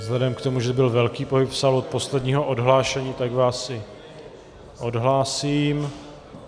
Vzhledem k tomu, že byl velký pohyb v sále od posledního odhlášení, tak vás i odhlásím.